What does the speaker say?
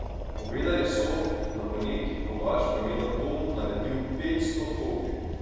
Povedali so, da bo neki kovač po imenu Tom naredil petsto kopij.